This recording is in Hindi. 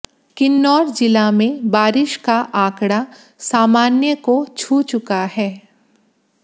किन्नौर जिला में बारिश का आंकड़ा सामान्य को छू चुका है